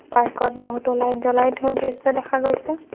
পাৰ্কত বহুতো লাইট জ্বলাই থোৱাৰ দৃশ্য দেখা গৈছে।